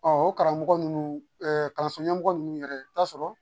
Ɔ o karamɔgɔ ninnu ɛɛ kalanso ɲɛmɔgɔ ninnu yɛrɛ i bɛ taa sɔrɔ